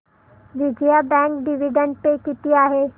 Vijaya bank dividend pay किती आहे